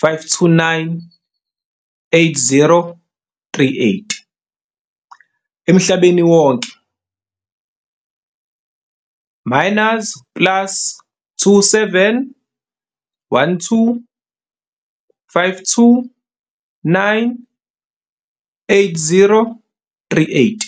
529 8038, emhlabeni wonke minus plus 27 12 529 8038.